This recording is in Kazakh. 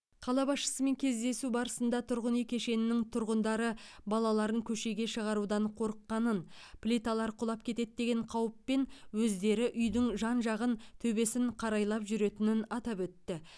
қала басшысымен кездесу барысында тұрғын үй кешенінің тұрғындары балаларын көшеге шығарудан қорыққанын плиталар құлап кетеді деген қауіппен өздері үйдің жан жағын төбесін қарайлап жүретінін атап өтті